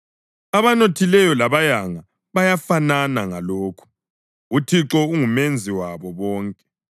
Abanothileyo labayanga bayafanana ngalokhu: UThixo unguMenzi wabo bonke.